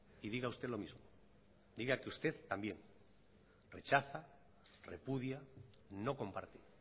y diga usted lo mismo diga que usted también rechaza repudia no comparte